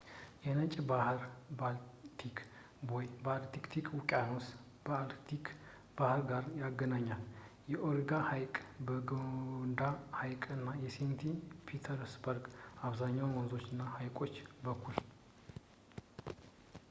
የነጭ ባሕር – ባልቲክ ቦይ የአርክቲክ ውቅያኖስን ከባልቲክ ባሕር ጋር ያገናኛል ፣ በኦኔጋ ሐይቅ ፣ በላዶጋ ሐይቅ እና በሴንት ፒተርስበርግ ፣ በአብዛኛው በወንዞች እና በሐይቆች በኩል